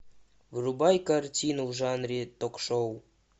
врубай картину в жанре ток шоу